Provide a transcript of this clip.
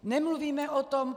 Nemluvíme o tom.